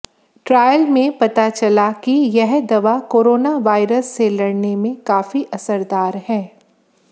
trial में पता चला कि यह दवा कोरोना वायरस से लड़ने काफी असरदार है